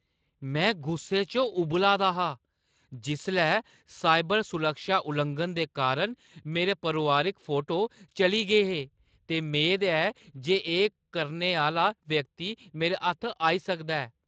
में गुस्से च उंबला दा हा जिसलै साइबर सुरक्षा लुआंघन दे कारण मेरे परोआरिक फोटो चली गे हे ते मेद ऐ जे एह् करने आह्‌ला व्यक्ति मेरे हत्थ आई सकदा ऐ।